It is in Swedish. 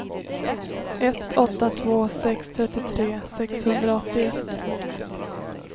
ett åtta två sex trettiotre sexhundraåttioett